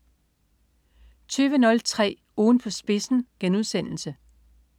20.03 Ugen på spidsen*